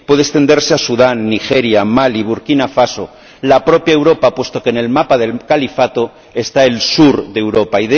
puede extenderse a Sudán, Nigeria, Mali, Burkina Faso, la propia Europa, puesto que en el mapa del Califato está el sur de Europa.